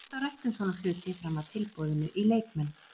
Það er alltaf rætt um svona hluti fram að tilboðinu í leikmenn.